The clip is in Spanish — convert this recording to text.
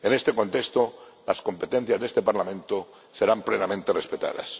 En este contexto, las competencias de este Parlamento serán plenamente respetadas.